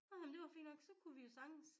Nå men det var fint nok så kunne vi jo sagtens